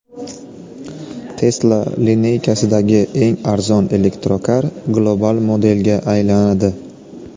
Tesla lineykasidagi eng arzon elektrokar global modelga aylanadi.